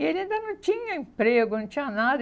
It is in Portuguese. E ele ainda não tinha emprego, não tinha nada.